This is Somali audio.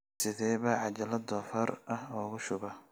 sidee baan cajalad doofaar ah ugu shubaa